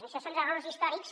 això són errors històrics